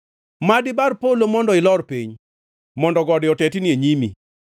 Mad ibar polo mondo ilor piny, mondo gode otetni e nyimi,